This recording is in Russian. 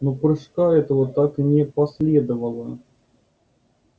но прыжка этого так и не последовало